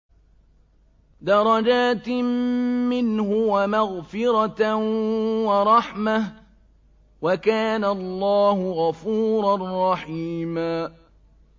دَرَجَاتٍ مِّنْهُ وَمَغْفِرَةً وَرَحْمَةً ۚ وَكَانَ اللَّهُ غَفُورًا رَّحِيمًا